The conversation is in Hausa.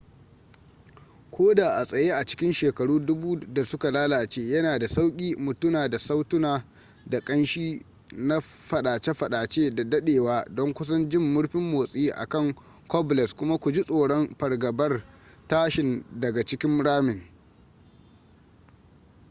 ko da a tsaye a cikin shekaru dubu da suka lalace yana da sauƙi mu tuna da sautuna da ƙanshi na fadace-fadace da dadewa don kusan jin murfin motsi a kan cobbles kuma ku ji tsoron fargabar tashin daga cikin ramin